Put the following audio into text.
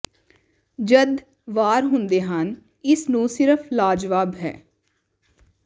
ਜਦ ਵਾਰ ਹੁੰਦੇ ਹਨ ਇਸ ਨੂੰ ਸਿਰਫ਼ ਲਾਜਵਾਬ ਹੈ